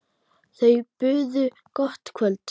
Þau buðu gott kvöld.